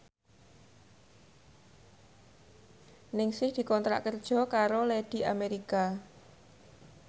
Ningsih dikontrak kerja karo Lady America